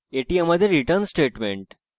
এবং এটি আমাদের return statement